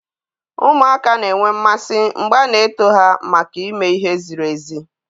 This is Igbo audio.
Ụmụaka na-enwe mmasị mgbe a na-eto ha maka ime ihe ziri ezi